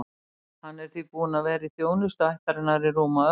Hann er því búinn að vera í þjónustu ættarinnar í rúma öld.